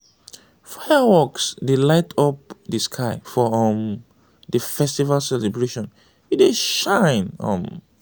fireworks dey light up di sky for um di festival celebration e dey shine. um